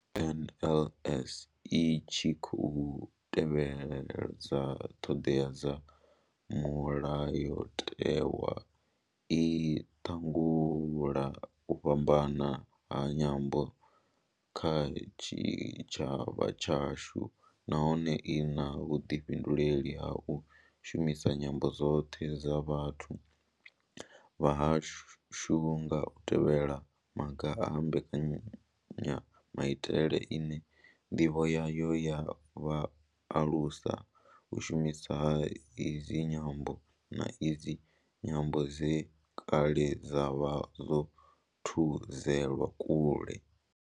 NLS I tshi khou tevhedza ṱhodea dza Mulayotewa, i langula u fhambana ha nyambo kha tshitshavha tshashu nahone I na vhuḓifhinduleli ha u shumisa nyambo dzoṱhe dza vhathu vha hashu nga u tevhedza maga a mbekanyamaitele ine ndivho yayo ya vha u alusa u shumiswa ha idzi nyambo, na idzo nyambo dze kale dza vha dzo thudzelwa kule.